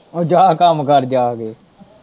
ਉਹ ਜਾਂ ਕੰਮ ਕਰ ਜਾ ਕੇ।